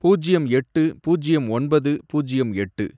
பூஜ்யம் எட்டு, பூஜ்யம் ஒன்பது, பூஜ்யம் எட்டு